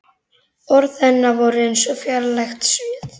Orð hennar voru eins og fjarlægt suð.